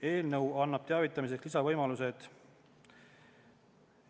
Eelnõu annab teavitamiseks lisavõimalused.